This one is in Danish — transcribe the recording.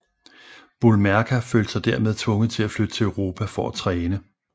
Boulmerka følte sig dermed tvunget til at flytte til Europa for at træne